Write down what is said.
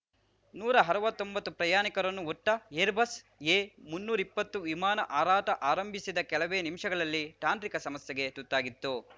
ನೂರಾ ಅರ್ವತ್ತೊಂಬತ್ತು ಪ್ರಯಾಣಿಕರನ್ನು ಹೊತ್ತ ಏರ್‌ಬಸ್‌ ಎ ಮುನ್ನೂರಾ ಇಪ್ಪತ್ತು ವಿಮಾನ ಹಾರಾಟ ಆರಂಭಿಸಿದ ಕೆಲವೇ ನಿಮಿಷಗಳಲ್ಲಿ ತಾಂತ್ರಿಕ ಸಮಸ್ಯೆಗೆ ತುತ್ತಾಗಿತ್ತು